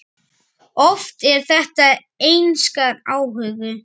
Oft er þetta einskær áhugi.